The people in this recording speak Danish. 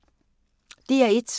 DR1